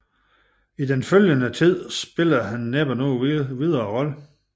I den følgende Tid spillede han næppe nogen videre Rolle